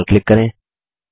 okay पर click करें